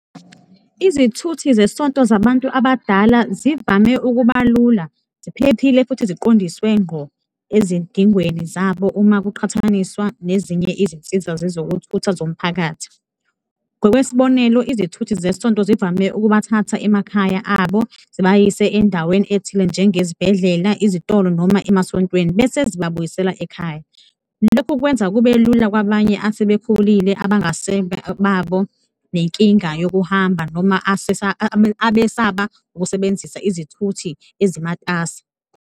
Izithuthi zesonto zabantu abadala zivame ukuba lula, ziphephile futhi siqondiswe ngqo ezidingweni zabo uma kuqhathaniswa nezinye izinsiza zezokuthutha zomphakathi. Ngokwesibonelo, izithuthi zesonto zivame ukubathatha emakhaya abo, zibayise endaweni ethile njengezibhedlela, izitolo noma emasontweni bese zibabuyisela ekhaya. Lokhu kwenza kube lula kwabanye asebekhulile abangasebabo nenkinga yokuhamba noma abesaba ukusebenzisa izithuthi ezimatasa.